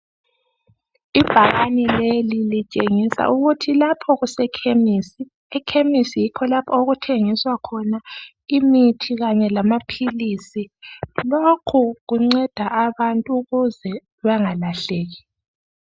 Ibhakane leli litshengisa ukuthi lapho kuse khemisi. Ekhemisi kulapho okuthengiswa khona imithi kanye lamaphilisi. Lokho kunceda abantu ukuze bangalahleki.